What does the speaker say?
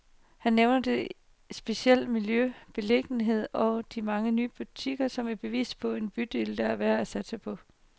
Han nævner det specielle miljø, beliggenheden og de mange nye butikker, som et bevis på en bydel, der er værd at satse på.